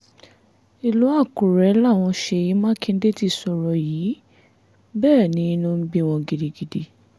ìlú àkùrẹ́ làwọn ṣèyí mákindè ti sọ̀rọ̀ yìí bẹ́ẹ̀ ni inú ń bí wọn gidigidi